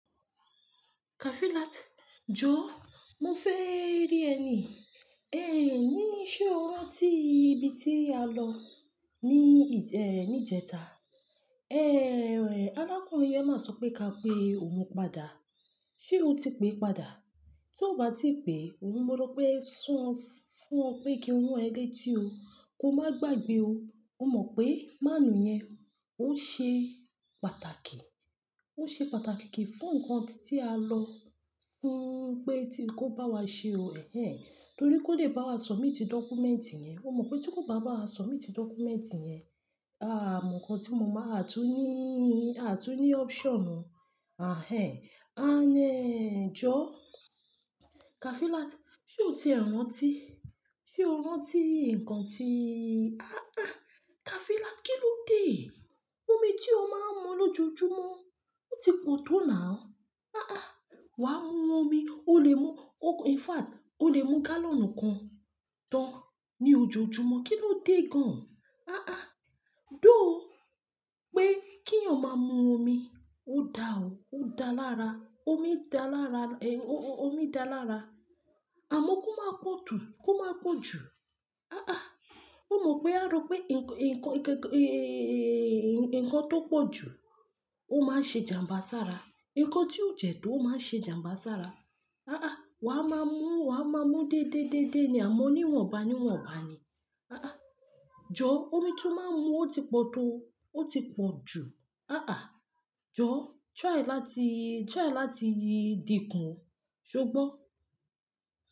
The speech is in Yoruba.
Kafilat, jọ, mo fẹ́ rí ẹ ní, ẹ ní ṣe o rántí ibi tí a lọ ní, eh, níjẹta? Eh, arákùnrin yẹn má sọ pé ka pe òun padà. Ṣé o ti pé padà? Tí o bá tí pè, ó mọ̀ pé sún ọ fún ọ pé kí n rán e létí o, kó má gbàgbé o. Ó mọ̀ pé máànù yẹn ó ṣe pàtàkì. Ó ṣe pàtàkì kì í fún ǹkan tí a lọ fún pé tí kó bá wa ṣe o, ẹhẹh. Nítorí kó lè bá wa submit dọ́kúmẹ́ǹtì yẹn. Ó mọ̀ pé tí kò bá bá wa submit dọ́kúmẹ́ǹtì yẹn, àà, ǹkan tí mo máa, a tún níí, a tún ní option mọ, ahẹh. A n ẹ́ jọ, Kafilat, ṣe o ti e rántí? Ṣé o rántí ǹkan tí-- aàà, Kafilat, kí lódé? Omi tí o máa ń mu lójoojúmọ́ ó ti pọ̀ tó now. Aàà, wàá mú omi, o lè mú, in fact, o lè mú gálọ̀nù kan tán ní ojoojúmọ́, kí ló dé gan? Aàà, dó ó pé kí ǹ ó máa mú omi. Ó da o, ó da lára, omi dá lára, eh, omi dá lára. Àmọ́ kó má pọ̀ jù, kó má pọ̀ jù. Aàà, ó mọ̀ pé a rò pé ǹkan, ǹkan, ẹ̀, ǹkan tó pọ̀ jù ó máa ṣe ijàmbá sára. Ǹkan tí ó jẹ̀ tó ó máa ṣe ijàmbá sára. Aàà, wà á máa mú, wà á máa mú dédé dédé ni, àmọ́ níwọ̀nba níwọ̀nba ni. Aàà, jọ omi tí ó máa ń mú ó ti pọ̀ tó, ó ti pọ̀ jù. Aàà, jọ, try láti, try láti yí di kan, ṣo gbọ́?